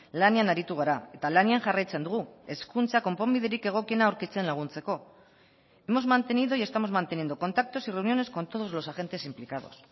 lanean aritu gara eta lanean jarraitzen dugu hezkuntza konponbiderik egokiena aurkitzen laguntzeko hemos mantenido y estamos manteniendo contactos y reuniones con todos los agentes implicados